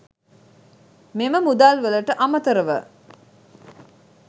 මෙම මුදල් වලට අමතරව